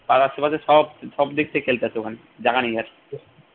পাড়ার সুবাদে সব সবদিক থেকে খেলতে আসে ওখানে জাগা নেই আর